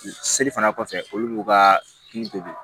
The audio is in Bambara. Seli fana kɔfɛ olu b'u ka hakili to de